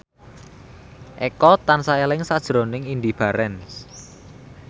Eko tansah eling sakjroning Indy Barens